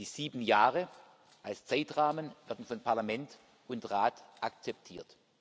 Die sieben Jahre als Zeitrahmen werden von Parlament und Rat akzeptiert.